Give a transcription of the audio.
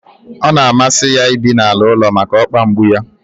Ọ na amasi ya ibi n'ala ụlọ maka okpa mgbu yá